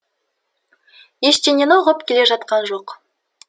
ештеңені ұғып келе жатқан жоқ